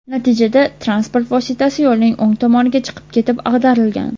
Natijada transport vositasi yo‘lning o‘ng tomoniga chiqib ketib ag‘darilgan.